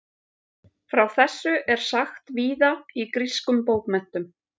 frá þessu er sagt víða í grískum bókmenntum